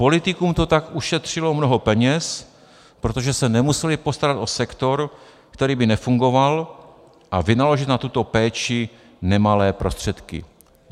Politikům to tak ušetřilo mnoho peněz, protože se nemuseli postarat o sektor, který by nefungoval, a vynaložit na tuto péči nemalé prostředky.